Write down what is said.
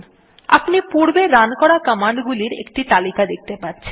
আপনি পূর্বে রান করা কমান্ডগুলির একটি তালিকা দেখতে পাচ্ছেন